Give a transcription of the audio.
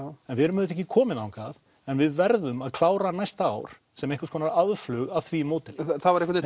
en við erum auðvitað ekki komin þangað en við verðum að klára næsta ár sem einhvers konar aðflug að því módeli það var einhvern